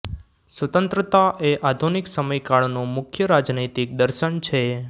સ્વતંત્રતા એ આધુનિક સમયકાળનું મુખ્ય રાજનૈતિક દર્શન છે